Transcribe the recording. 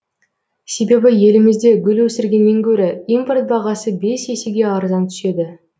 себебі елімізде гүл өсіргеннен гөрі импорт бағасы бес есеге арзан түседі